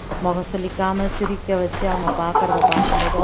முகம் சுளிக்காம சிரிக்க வச்சு அவங்க பாக்குறதை பார்க்கும் போது